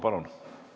Palun!